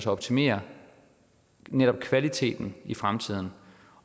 at optimere netop kvaliteten i fremtiden